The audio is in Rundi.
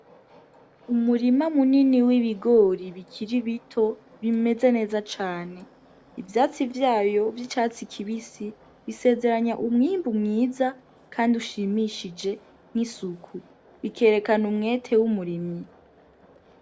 Umurima munini w'ibigori bikira ibito bimeze neza cane ivyatsi vyayo vy'icatsi kibisi bisezeranya umwimbu mwiza, kandi ushimishije nk'isuku bikerekana umwete w'umurimyi.